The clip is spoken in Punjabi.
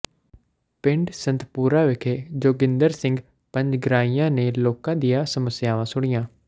ਪਿੰਡ ਸੰਤਪੁਰਾ ਵਿਖੇ ਜੋਗਿੰਦਰ ਸਿੰਘ ਪੰਜਗਰਾਈਆਂ ਨੇ ਲੋਕਾਂ ਦੀਆਂ ਸਮੱਸਿਆਵਾਂ ਸੁਣੀਆਂ